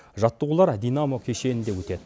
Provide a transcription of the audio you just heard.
жаттығулар динамо кешенінде өтеді